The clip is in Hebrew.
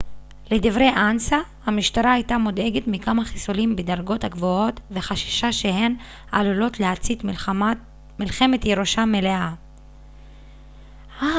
לדברי אנס א המשטרה הייתה מודאגת מכמה חיסולים בדרגות הגבוהות וחששה שהן עלולות להצית מלחמת ירושה מלאה